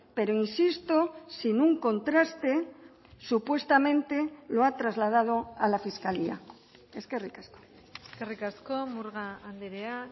pero insisto sin un contraste supuestamente lo ha trasladado a la fiscalía eskerrik asko eskerrik asko murga andrea